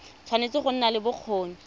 tshwanetse go nna le bokgoni